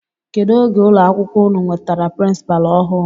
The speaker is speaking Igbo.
Kedụ oge ụlọ akwụkwọ unu nwetara pirinsipaalu ọhụụ?